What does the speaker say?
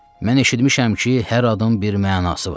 Mən eşitmişəm ki, hər adın bir mənası var.